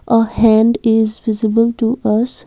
a hand is visible to us.